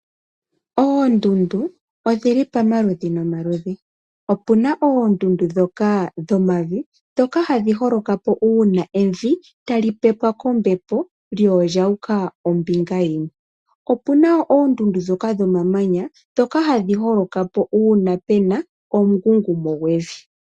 Oondundu odhili pamaludhi nomaludhi, opuna oondundu ndhoka dhomavi, ndhoka hadhi holoka uuna evi tali pepwa kombepo, lyo olyu uka ombinga yimwe. Opuna oondundu ndhoka dhomamanya, ndhoka hadhi holoka po uuna puna omungungumo gwevi.